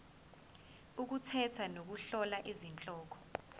ukukhetha nokuhlola izihloko